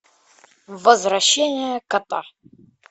возвращение кота